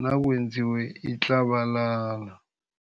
nakwenziwe itlabalala.